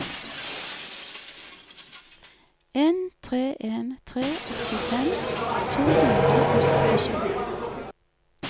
en tre en tre åttifem to hundre og syttisju